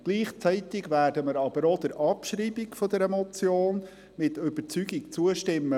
Gleichzeitig werden wir aber auch der Abschreibung der Motion mit Überzeugung zustimmen.